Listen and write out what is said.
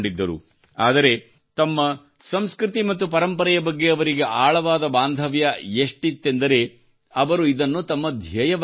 ಆದರೆ ತಮ್ಮ ಸಂಸ್ಕೃತಿ ಮತ್ತು ಪರಂಪರೆಯ ಬಗ್ಗೆ ಅವರಿಗೆ ಆಳವಾದ ಬಾಂಧವ್ಯ ಎಷ್ಟಿತ್ತೆಂದರೆ ಅವರು ಇದನ್ನು ತಮ್ಮ ಧ್ಯೇಯವಾಗಿಸಿಕೊಂಡರು